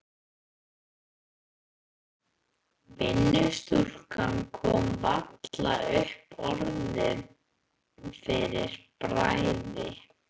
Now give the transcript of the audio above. Vinnustúlkan kom varla upp orði fyrir bræði.